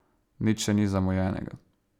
Nič še ni zamujenega.